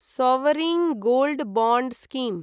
sovereign gold bond scheme